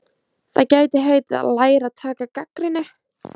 Það gæti heitið: Að læra að taka gagnrýni.